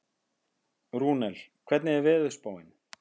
Rúnel, hvernig er veðurspáin?